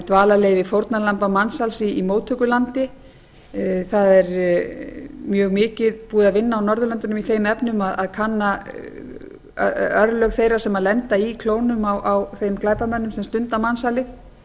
dvalarleyfi fórnarlamba mansals í móttökulandi það er mjög mikið búið að vinna á norðurlöndunum í þeim efnum að kanna örlög þeirra sem lenda í klónum á þeim glæpamönnum sem stunda mansal